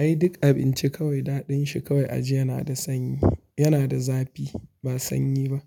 Ai duk abinci kawai daɗin shi kawai aji yana da sanyi, yana da zafi ba sanyi ba.